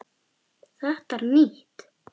Þetta er nýtt!